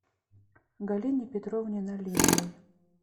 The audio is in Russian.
галине петровне налимовой